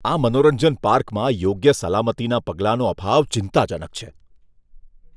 આ મનોરંજન પાર્કમાં યોગ્ય સલામતીના પગલાંનો અભાવ ચિંતાજનક છે.